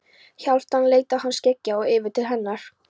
Hálfdán leit af þeim skeggjaða og yfir til hennar.